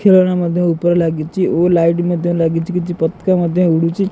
ଖେଳନା ମଧ୍ୟ ଉପରେ ଲାଗିଛି ଓ ଲାଇଟ୍ ମଧ୍ୟ ଲାଗିଛି ପତାକା ମଧ୍ୟ ଉଡୁଛି।